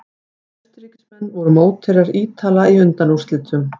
Austurríkismenn voru mótherjar Ítala í undanúrslitum.